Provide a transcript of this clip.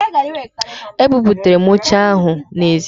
E buputara m oche ahụ n'ezi